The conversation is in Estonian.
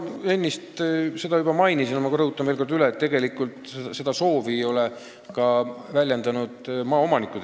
Ma enne seda juba mainisin, aga rõhutan veel kord üle, et maaomanikud seda tegelikult ei soovi.